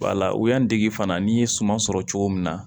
Wala u y'an dege fana n'i ye suma sɔrɔ cogo min na